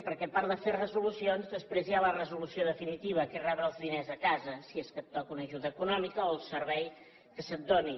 perquè a part de fer resolucions després hi ha la resolució definitiva que és rebre els diners a casa si és que et toca una ajuda econòmica o el servei que se’t doni